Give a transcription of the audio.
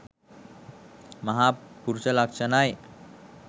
මහ පුරුෂ ලක්ෂණයි.